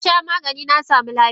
Nasha Maganin nasamu lafiya.